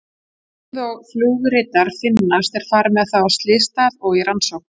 Um leið og flugritar finnast er farið með þá af slysstað og í rannsókn.